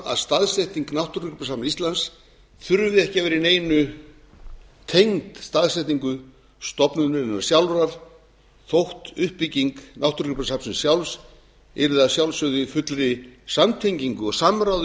að staðsetning náttúrugripasafns íslands þurfi ekki að vera í neinu tengd staðsetningu stofnunarinnar sjálfrar þótt uppbygging náttúrugripasafnsins sjálfs yrði að sjálfsögðu í fullri samtengingu og samráði